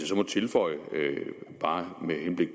så må tilføje bare med henblik